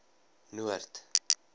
noord